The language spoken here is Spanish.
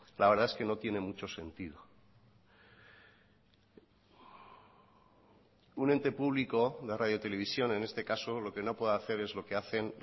la verdad es que no tiene mucho sentido un ente público la radio televisión en este caso lo que no puede hacer es lo que hacen